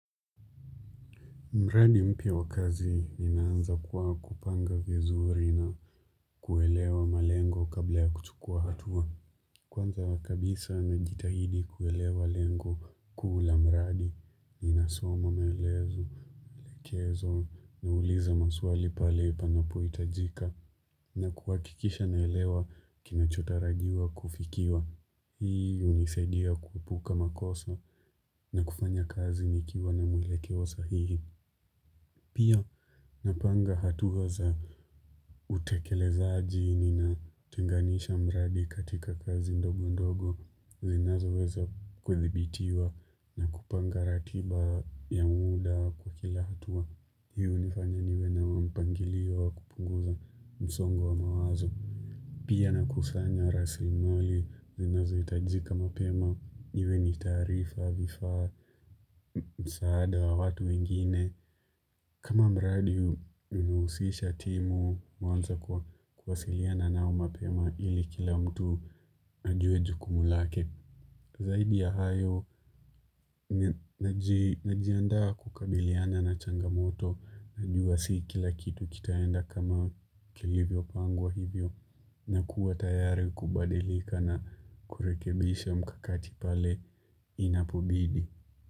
Mradi mpya wa kazi inaanza kuwa kupanga vizuri na kuelewa malengo kabla ya kuchukua hatua. Kwanza kabisa najitahidi kuelewa lengo kuu la mradi, ninasoma maelezo kezo nauliza maswali pale panapohitajika na kuhakikisha naelewa kinachotarajiwa kufikiwa. Hii hunisaidia kuepuka makosa na kufanya kazi nikiwa na mwelekeo sahihi. Pia napanga hatua za utekelezaji nina tenganisha mradi katika kazi ndogo ndogo. Zinazoweza kudhibitiwa na kupanga ratiba ya muda kwa kila hatua. Hii hunifanya niwe na mpangilio wa kupunguza msongo wa mawazo. Pia nakusanya rasilimali, zinazohitajika mapema, iwe ni taarifa, vifaa, msaada wa watu wengine. Kama mradi, huu hunihusisha timu, huanza kwa kuwasiliana nao mapema, ili kila mtu ajue jukumu lake. Zaidi ya hayo, najiandaa kukabiliana na changamoto, najua si kila kitu kitaenda kama kilivyopangwa hivyo. Na kuwa tayari kubadilika na kurekebisha mkakati pale inapobidi.